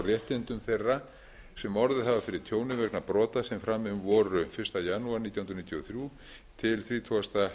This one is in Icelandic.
réttindum þeirra sem orðið hafa fyrir tjóni vegna brota sem framin voru fyrsta janúar nítján hundruð níutíu og þrjú til þrjátíu